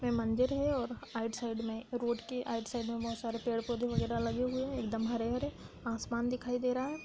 ये मंदिर है और आइड साइड में रोड के आइड साइड में बहोत सारे पेड़-पौधे वगैरा लगे हुए हैं एक दम हरे-हरे आसमान दिखाई दे रहा है।